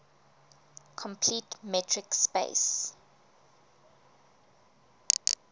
complete metric space